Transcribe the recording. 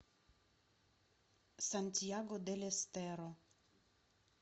сантьяго дель эстеро